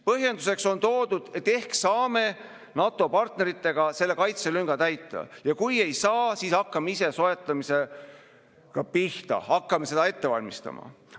Põhjenduseks on toodud, et ehk saame NATO partneritega selle kaitselünga täita ja kui ei saa, siis hakkame ise soetamisega pihta, hakkame seda ette valmistama.